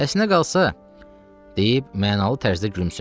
Əslinə qalsa, deyib mənalı tərzdə gülümsündü.